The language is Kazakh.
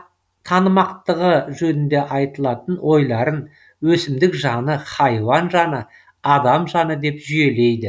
танымақтығы жөнінде айтылатын ойларын өсімдік жаны хайуан жаны адам жаны деп жүйелейді